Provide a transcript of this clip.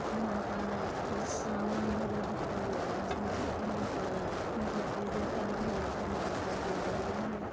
यहां पर कुछ सामान धरे दिखाई दे रहा है यहां पर डिब्बे दिखाई धरे दिखाई दे रहे है।